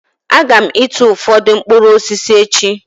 Aga m ịtụ ụfọdụ mkpụrụ osisi echi